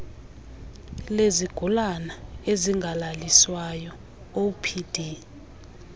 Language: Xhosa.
lezigulana ezingalaliswayo opd